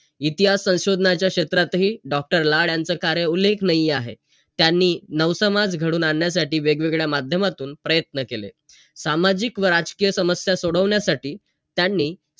इतिहास संशोधनाच्या क्षेत्रातही doctor लाड यांचं कार्य उल्लेखनीय आहे. त्यांनी नव समाज घडवून आणण्यासाठी वेगवेगळ्या माध्यमातून प्रयत्न केले. सामाजिक व राजकीय समस्या सोडवण्यासाठी त्यांनी,